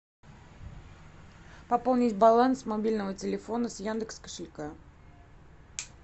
пополнить баланс мобильного телефона с яндекс кошелька